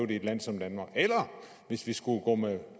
i et land som danmark eller hvis vi skulle gå med